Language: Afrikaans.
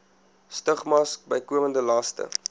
stigmas bykomende laste